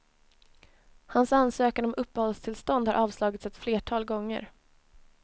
Hans ansökan om uppehållstillstånd har avslagits ett flertal gånger.